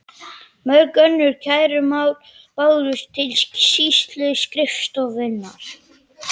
Mörg önnur kærumál bárust til sýsluskrifstofunnar.